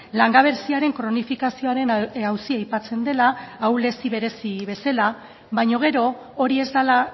langabeziaren kronifikazioaren auzia aipatzen dela ahulezi berezi bezala baina gero hori ez dela